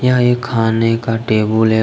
यह एक खाने का टेबुल है।